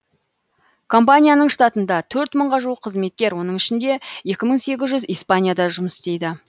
компанияның штатында төрт мыңға жуық қызметкер оның ішінде екі мың сегіз жүзі испанияда жұмыс істейді